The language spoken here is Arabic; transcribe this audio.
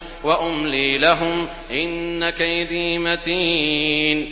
وَأُمْلِي لَهُمْ ۚ إِنَّ كَيْدِي مَتِينٌ